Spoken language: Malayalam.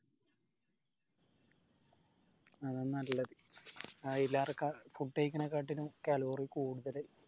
അതാ നല്ലത് അയിലാർക്ക food കഴിക്കണകാട്ടിലും calorie കൂടുതല്